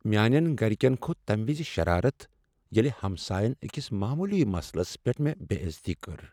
میانین گرِ کین كھوٚت تمہ وز شرارت ییٚلہ ہمساین أکس معمولی مسلس پٮ۪ٹھ مےٚ بے عزتی کٔر۔